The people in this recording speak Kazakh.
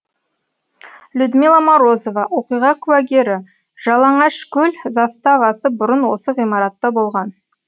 людмила морозова оқиға куәгері жалаңашкөл заставасы бұрын осы ғимаратта болған